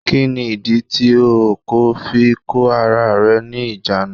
Kí ní ìdí tí o kò fi kó ara rẹ ní ìjánu?